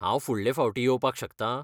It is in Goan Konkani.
हांव फुडलें फावटीं येवपाक शकतां?